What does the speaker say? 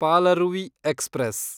Palaruvi express